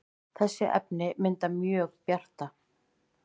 þessi efni mynda mjög bjarta